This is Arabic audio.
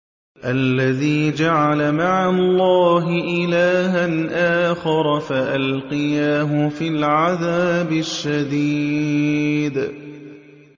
الَّذِي جَعَلَ مَعَ اللَّهِ إِلَٰهًا آخَرَ فَأَلْقِيَاهُ فِي الْعَذَابِ الشَّدِيدِ